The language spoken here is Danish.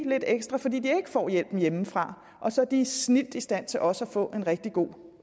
lidt ekstra fordi de ikke får hjælpen hjemmefra og så er de snildt i stand til også at få en rigtig god